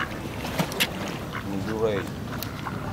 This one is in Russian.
нью рэй